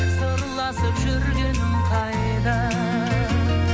сырласып жүргенің қайда